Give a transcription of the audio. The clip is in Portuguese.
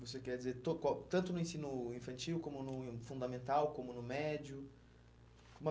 Você quer dizer, tanto no ensino infantil, como no fundamental, como no médio? Uma